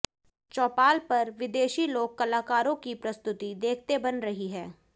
चौपाल पर विदेशी लोक कलाकारों की प्रस्तुति देखते बन रही है